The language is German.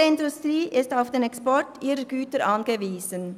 Unsere Industrie ist auf den Export ihrer Güter angewiesen.